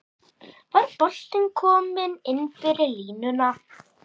Var boltinn kominn innfyrir línuna?